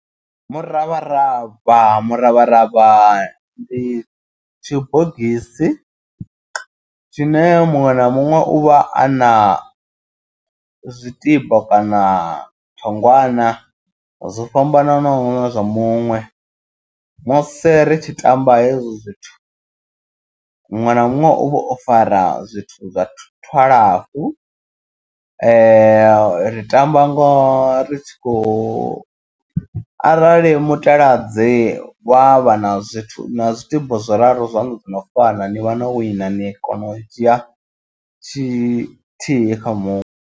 Muravharavha muravharavha ndi tshibogisi tshine muṅwe na muṅwe u vha a na zwitino kana thongwana. Zwo fhambananaho zwa muṅwe musi ri tshi tamba hezwo zwithu. Muṅwe na muṅwe uvha o fara zwithu zwa twalafu ri tamba ngo ri tshi khou arali mutaladzi wa vha na zwithu na zwitibo zwiraru zwaṋu dzo no fana ni vha no wina ni kona u dzhia tshithihi kha muṅwe.